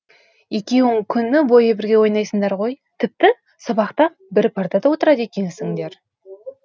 екеуің күні бойы бірге ойнайсыңдар ғой тіпті сабақта бір партада отырады екенсіңдер